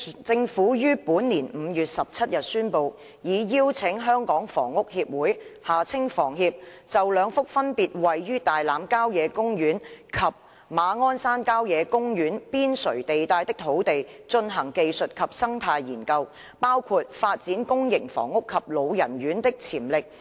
政府於本年5月17日宣布，已邀請香港房屋協會就兩幅分別位於大欖郊野公園及馬鞍山郊野公園邊陲地帶的土地，進行技術及生態研究，包括發展公營房屋及老人院的潛力。